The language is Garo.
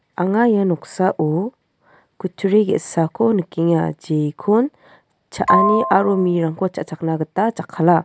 anga ia noksao kutturi ge·sako nikenga jekon cha·ani aro mirangko cha·chakna jakkala.